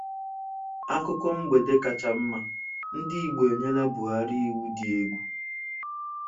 Akụkọ mgbede kacha mma: Ndị Igbo enyela Buhari iwu dị egwu